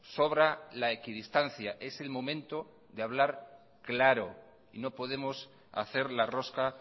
sobra la equidistancia es el momento de hablar claro y no podemos hacer la rosca